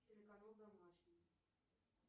телеканал домашний